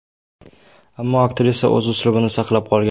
Ammo aktrisa o‘z uslubini saqlab qolgan.